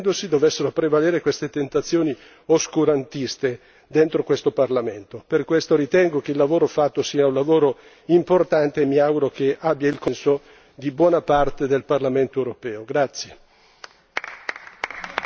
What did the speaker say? Sarebbe davvero paradossale che, astenendosi, dovessero far prevalere queste tentazioni oscurantiste all'interno di questo Parlamento. Per questo ritengo che il lavoro fatto sia importante che, mi auguro, raccolga il consenso di buona parte del Parlamento europeo.